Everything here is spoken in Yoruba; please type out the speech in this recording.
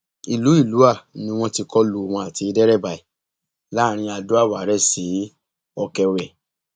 ìlú ìlúà ni wọn ti kọ lu òun àti dẹrabà ẹ láàrin adoàwárẹ sí ọkẹwẹ